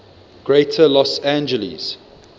greater los angeles